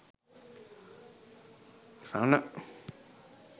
rana